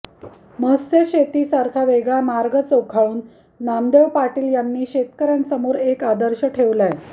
मत्स्यशेतीसारखा वेगळा मार्ग चोखाळून नामदेव पाटील यांनी शेतकऱ्यांसमोर एक आदर्श ठेवलाय